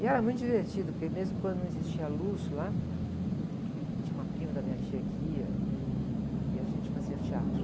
E era muito divertido, porque mesmo quando não existia luz lá, tinha uma prima da minha tia que ia e, e, e a gente fazia teatro.